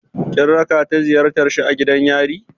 Kin raka ta ziyartar shi a gidan yari?